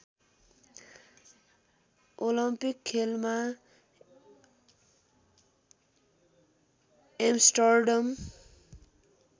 Olympic खेलमा Amsterdam